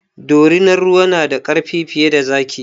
Dorinar ruwa na da ƙarfi fiye da zaki